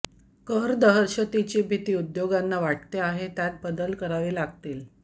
कर दहशतीची भीती उद्योगांना वाटते आहे त्यात बदल करावे लागतील